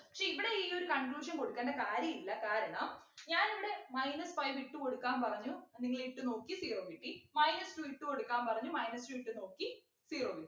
പക്ഷെ ഇവിടെ ഈ ഒരു conclusion കൊടുക്കണ്ട കാര്യ ഇല്ല കാരണം ഞാനിവിടെ minus five ഇട്ടു കൊടുക്കാൻ പറഞ്ഞു നിങ്ങളിട്ടു നോക്കി zero കിട്ടി minus two ഇട്ടു കൊടുക്കാൻ പറഞ്ഞു minus two ഇട്ടു നോക്കി zero കിട്ടി